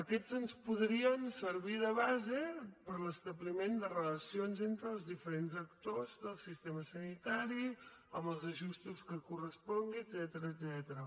aquests ens podrien servir de base per a l’establiment de relacions entre els diferents actors del sistema sanitari amb els ajustos que corresponguin etcètera